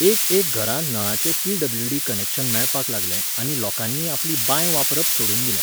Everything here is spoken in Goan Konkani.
एक एक घरांत नळाचें पी.डब्ल्यू.डी. कनॅक्शन मेळपाक लागलें आनी लोकांनी आपली बांय वापरप सोडून दिलें.